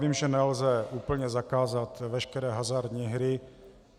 Vím, že nelze úplně zakázat veškeré hazardní hry.